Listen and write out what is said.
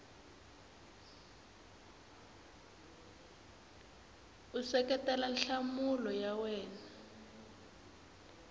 u seketela nhlamulo ya wena